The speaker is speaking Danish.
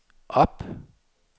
op